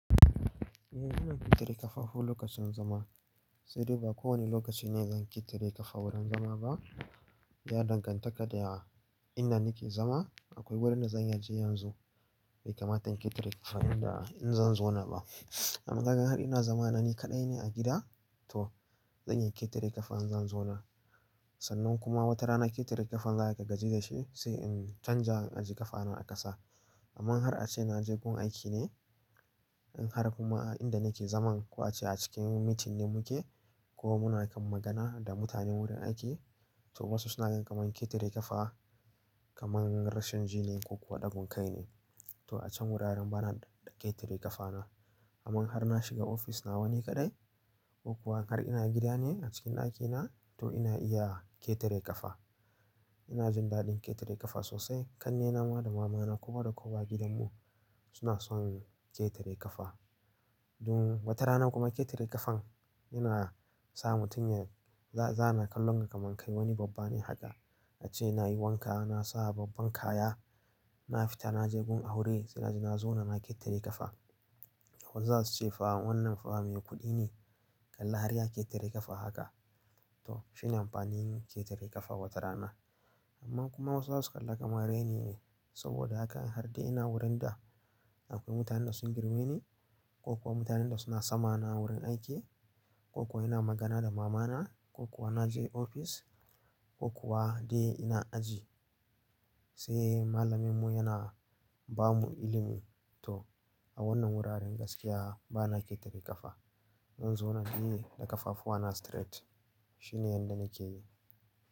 Eh, in ƙetare ƙafafu lokacin zama. Sai dai ba kowane lokaci ne zan ƙetare ƙafa wurin zama ba. Ya dangantaka da inda nake zama. Akwai wurin da zan iya je yanzu bai kamata in ƙetare ƙafa inda in zan zauna ba. Amma har ina zama na ni kaɗai ne a gida, to zan iya ƙetare ƙafa in zan zauna. Sannan kuma wata rana ƙetare ƙafan za a gaji da shi sai in canja in ajiye ƙafana a ƙasa. Amma har ace naje gun aiki ne, in har kuma a inda nake zaman ka ace a cikin meeting ne muke ko muna kan magana da mutane wurin aiki, to wasu suna ganin kamar ketare kafa. Kamar rashin jin ne ko kuwa ɗagun kai ne. To a can wuraren bana ƙetare ƙafana. Amman in har na shiga office nawa ni kadai ko kuwa har ina gida ne a cikin ɗakina, to ina iya ƙetare ƙafa. Ina jin daɗin ƙetare ƙafa sosai. Kannena ma da mamana ko da kowa gidanmu suna son ƙetare ƙafa. Um, watarana kuma ketare kafan yana sa mutum ya za ana kallon mu kamar wani babba ne haka ace nayi wanka na sa babban kaya na fita naje gun aure sai naje na zauna na ketare kafa. Ko zasu ce fa wannan fa me kudi kalli har ya ketare kafa haka. To shine amfanin ketare kafa wata rana. Amma kuma wasu zasu kalla kamar raini ne. Saboda haka in har dai ina wurin da akwai mutanen da sun girme ni ko kuwa mutanen da suna sama na a wurin aiki, ko kuwa ina magana da maman, ko kuwa naje office, ko kuwa dai ina aji se malamin mu yana bamu ilimi. To a wannan wuraren gaskiya bana ƙetare ƙafa. Zan zauna ne da kafafuwana straight shine yanda nake yi.